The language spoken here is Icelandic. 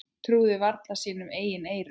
Trúði varla sínum eigin eyrum.